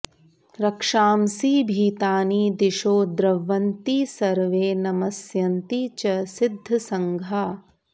रक्षांसि भीतानि दिशो द्रवन्ति सर्वे नमस्यन्ति च सिद्धसङ्घाः